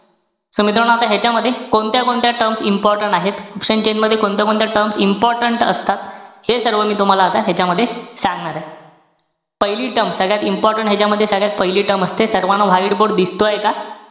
So मित्रांनो, ह्यांच्यामध्ये कोणत्या-कोणत्या terms important आहेत? Option chain मध्ये कोणत्या-कोणत्या important असतात? हे सर्व मी तुम्हाला आता ह्यांच्यामध्ये सांगणार आहे. पहिली term, सगळ्यात important ह्यांच्यामध्ये, सगळ्यात पहिली term असते. सर्व white board दिसतोय का?